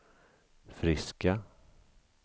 friska